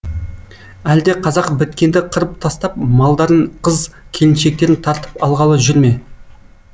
әлде қазақ біткенді қырып тастап малдарын қыз келіншектерін тартып алғалы жүр ме